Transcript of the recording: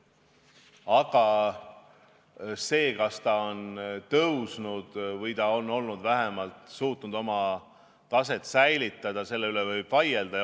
Aga selle üle, kas ta on tõusnud või vähemalt suutnud oma taset säilitada, võib vaielda.